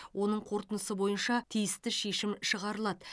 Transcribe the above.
оның қорытындысы бойынша тиісті шешім шығарылады